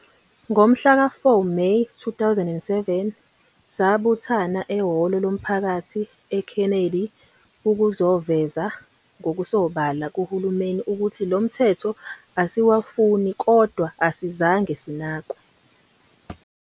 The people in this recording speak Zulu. Ngomhlaka 4 May 2007 sabuthana ehholo lomphakathi e Kennedy ukuzoveza ngokusobala kuhulumeni ukuthi lomthetho asiwufuni kodwa asizange sinakwe.